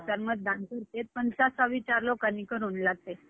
हम्म